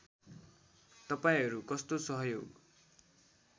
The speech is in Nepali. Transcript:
तपाईँहरू कस्तो सहयोग